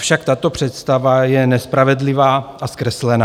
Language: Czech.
Avšak tato představa je nespravedlivá a zkreslená.